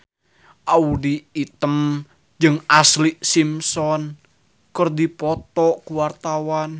Audy Item jeung Ashlee Simpson keur dipoto ku wartawan